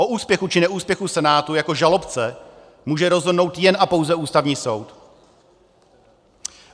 O úspěchu, či neúspěchu Senátu jako žalobce může rozhodnout jen a pouze Ústavní soud.